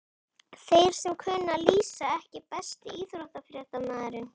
Þeir sem kunna að lýsa EKKI besti íþróttafréttamaðurinn?